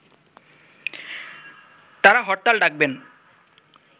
তারা হরতাল ডাকবেন